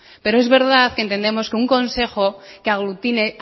pero es verdad que entendemos que un consejo que aglutine